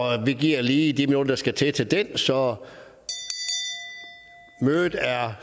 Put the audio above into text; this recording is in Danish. vi giver lige de minutter der skal til så mødet er